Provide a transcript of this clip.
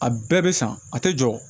A bɛɛ bɛ san a tɛ jɔ